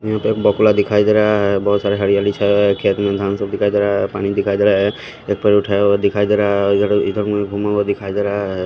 यहां पे एक बगुला दिखाई दे रहा है बहुत सारे हरियाली छाए हुए है खेत में धान सब दिखाई दे रहा है पानी दिखाई दे रहा है एक पैर उठाया हुआ दिखाई दे रहा है और इधर-इधर मुड़ी घुमा हुआ दिखाई दे रहा है।